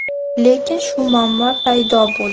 Lekin shu muammo paydo bo‘ldi.